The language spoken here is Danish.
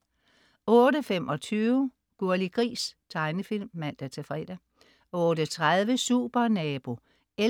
08.25 Gurli Gris. Tegnefilm (man-fre) 08.30 Supernabo 11:14*